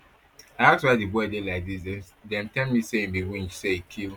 i ask why di boy dey like dis dem tell me say e be winch say e kill